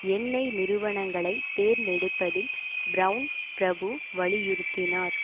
எண்ணெய் நிறுவனங்களை தேர்ந்தெடுப்பதில் பிரவுன் பிரபு வலியுறுத்தினார்